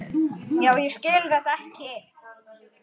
Já, ég skil þetta ekki.